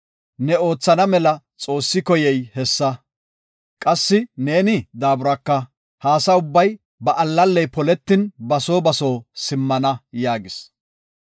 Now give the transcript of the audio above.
Ne oothana mela Xoossi koyey hessa. Qassi ne daaburaka ha asa ubbay ba allalley poletin ba soo ba soo simmana” yaagis.